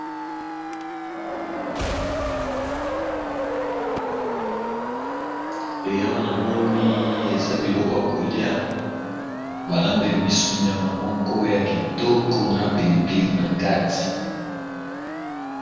Awa namoni eza biloko yakolya balambeli biso nyama ya kitoko na pilipili nakati.